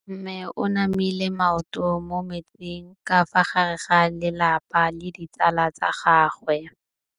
Mme o namile maoto mo mmetseng ka fa gare ga lelapa le ditsala tsa gagwe.